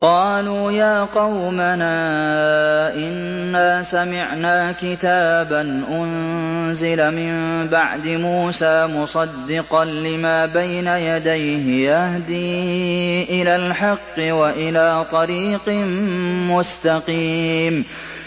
قَالُوا يَا قَوْمَنَا إِنَّا سَمِعْنَا كِتَابًا أُنزِلَ مِن بَعْدِ مُوسَىٰ مُصَدِّقًا لِّمَا بَيْنَ يَدَيْهِ يَهْدِي إِلَى الْحَقِّ وَإِلَىٰ طَرِيقٍ مُّسْتَقِيمٍ